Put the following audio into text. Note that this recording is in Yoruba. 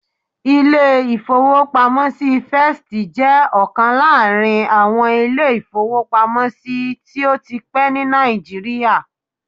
Ilé-ìfowópamọ́sí First jẹ́ ọ̀kan láàrin àwọn ilé-ìfowópamọ́sí tó ti pẹ́ ní Nàìjíríà